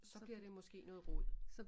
Så bliver det måske noget rod